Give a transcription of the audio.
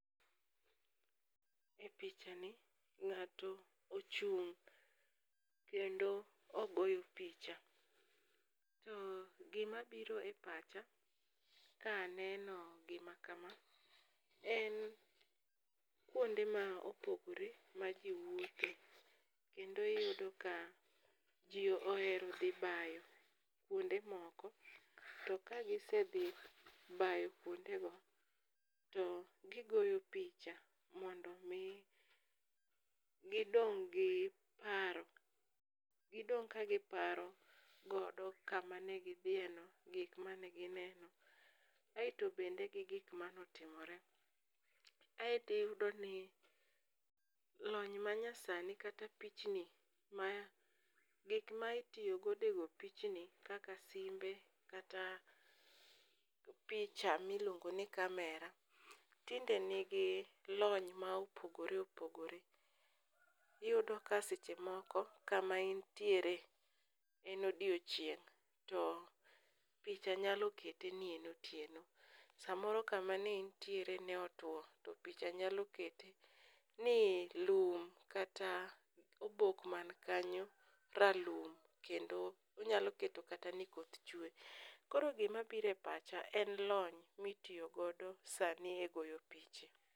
E pichani ng'ato ochung' kendo ogoyo picha . To gimabiro e pacha ka aneno gima kama, en kuonde ma opogore ma ji wuotho kendo iyudo ka ji ohero dhi bayo kuonde moko to kagisedhi bayo kuondego to gigoyo picha mondo omi gidong' gi paro, gidong' ka giparogodo kamane gidhiyeno, gikmanegineno aeto bende gi gik mane otimore. Aeto iyudoni lony manyasani kata gik maitiyogodo e go pichni kaka simbe kata picha miluongo ni camera tinde nigi lony ma opogore opogore, iyudo ka seche moko kama intiere en odiechieng' to picha nyalo kete ni en otieno. Samoro kama ne intiere ne otwo to picha nyalo kete ni lum kata obok mankanyo ralum kendo onyalo keto kata ni koth chwe, koro gimabiro e pacha en lony mitiyogodo sani e goyo piche.